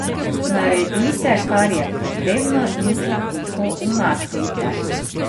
Naredite kar je potrebno in se tiho umaknite.